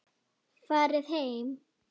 Farið heim!